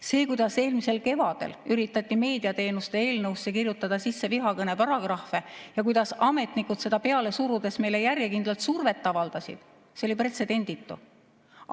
See, kuidas eelmisel kevadel üritati meediateenuste eelnõusse sisse kirjutada vihakõne paragrahve ja kuidas ametnikud seda peale surudes meile järjekindlalt survet avaldasid, oli pretsedenditu.